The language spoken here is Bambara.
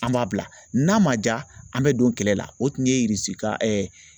An b'a bila n'a ma ja an bɛ don kɛlɛ la o tun ye ka